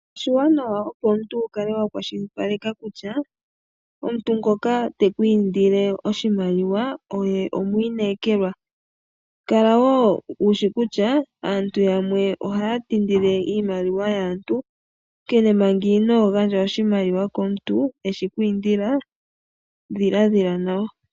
Oshiwanawa opo omuntu wukale wa kwashilipaleke kutya omuntu ngoka teku indile oshimaliwa oye omwiinekelwa. Kala woo wushishi kutya aantu yamwe ohaya ti ndile iimaliwa yaantu, onkene manga inoo gandja oshimaliwa komuntu eshi kwiindila, dhiladhila nawa.